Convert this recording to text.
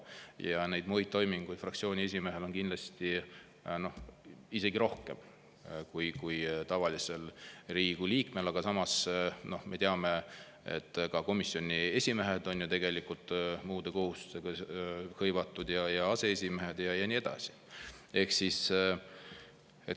Ja neid muid toiminguid fraktsiooni esimehel on kindlasti isegi rohkem kui tavalisel Riigikogu liikmel, aga samas me teame, et ka komisjoni esimehed ja aseesimehed ja nii edasi on ju tegelikult muude kohustustega hõivatud.